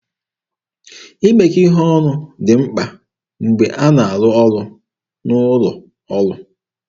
Imekọ ihe ọnụ dị mkpa mgbe a na-arụ ọrụ n'ụlọ ọrụ.